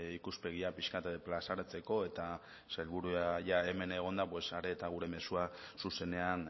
ikuspegia pixka bat plazaratzeko eta sailburua jada hemen egonda are eta gure mezua zuzenean